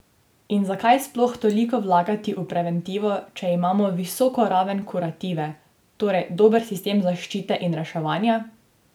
In zakaj sploh toliko vlagati v preventivo, če imamo visok o raven kurative, torej dober sistem zaščite in reševanja?